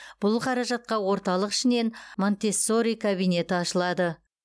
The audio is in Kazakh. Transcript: бұл қаражатқа орталық ішінен монтессори кабинеті ашылады